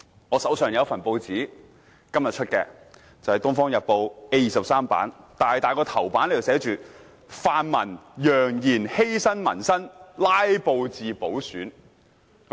我手上有一份今天出版的《東方日報》，報紙 A23 版的巨大標題為："泛民揚言犧牲民生拉布至補選"。